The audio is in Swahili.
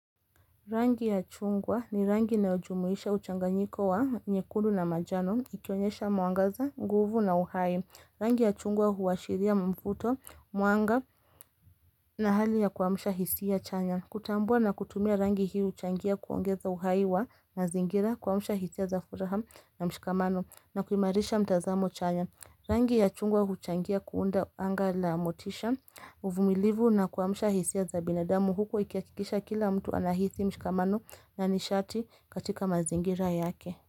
Rangi ya chungwa ni rangi inayojumuisha uchanganyiko wa nyekudu na manjano, ikionyesha mwangaza, nguvu na uhai. Rangi ya chungwa huwashiria mfuto, mwanga na hali ya kuamsha hisia chanya. Kutambua na kutumia rangi hii huchangia kuongeza uhai wa mazingira kuamsha hisia za furaha na mshikamano na kuimarisha mtazamo chanya. Rangi ya chungwa huchangia kuunda anga la motisha uvumilivu na kuwamusha hisia za binadamu huko ikihakikisha kila mtu anahisi mshikamano na nishati katika mazingira yake.